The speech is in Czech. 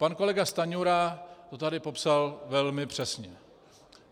Pan kolega Stanjura to tady popsal velmi přesně.